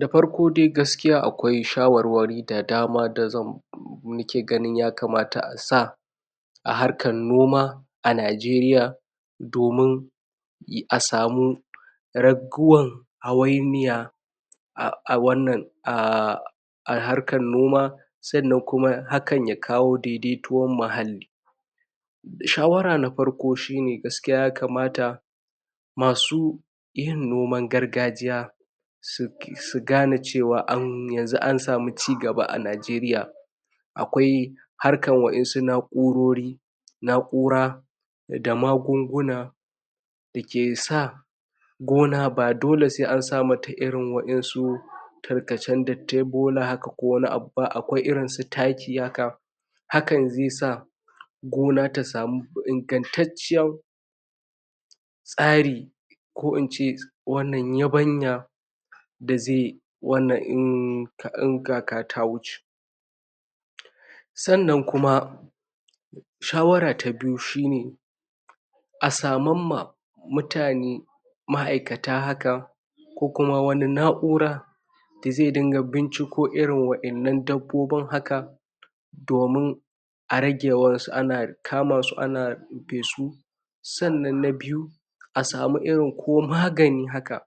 dafarko dai gaskiya akwai shawar wari da dama dazan danaki gani yakamata insa aharkan noma a nigeria domin a samu raguwan hawainiya a wannan um a harkan noma sannan kuma hakan yakawo daidai towan mahali shawara nafarko shine gaskiya yakamata masu yin niman gargajiya su sugane cewa yanzu an samu ci gaba a nigeria akwai harkan wainsu na'urori na'ura da magunguna dakesa gona ba dole sai an samata irin wainsu tarkacan dattin bola haka ko wani abuba akwai irin su taki haka hakan zai sa gona tasamu ingantatciyan tsari ko ince wannan yabanya dazai wanan um in kaka ta wuce sannan kuma shawara ta biyu shine asamamma mutane ma aikata haka kokuma wani na'ura dazai dinga binciko irin wainnan dabobin haka domin arage yawansu ana kamasu ana rofesu sannan na biyu asamu irin ko magani haka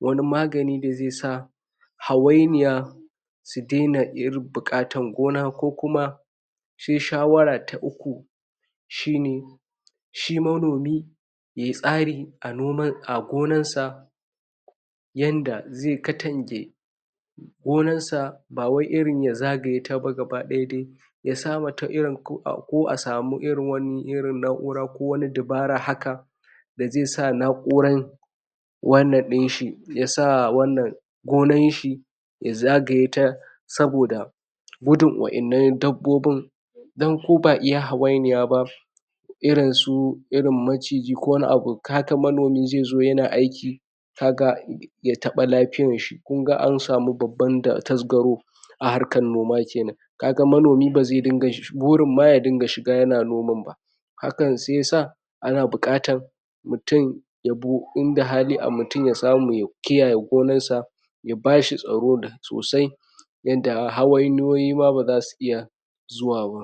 wani magani da zai sa hawainiya sudaina buƙatar gona kokuma sai shawara ta uku shine shi manomi yayi tsari a noma a gonansa yanda zai katange ganan sa bawai irin ya zagayetaba gaba dayaba dai yasamata irin ko a ko asamu irin wani irin na'ura ko wani dabara haka dazai sa na'uran wannan inshi yasa wannan ganashi ya zagaye ta saboda gudun wainan dabbobin dan kona iya hawainiya ba irinsu irin maciji ko wani abu kaga manomi zaizo yana aiki kaga yataɓa lafiyan shi kunda an samu babban da tasgaro a harkan noma kenan kaga manomi bare dinga burin ma yadinga shiga yana noman ba hakan sai yasa ana buƙatan mutun ya bu inda hali mutun yasamu ya kiyaye gonan sa yabashi tsaro sosai yanda hawainiyoyi ma barasu iya zuwa ba.